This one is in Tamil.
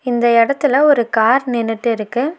இந்த எடத்துல ஒரு கார் நின்னுட்டிருக்கு.